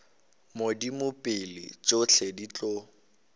modimo pele tšohle di tlo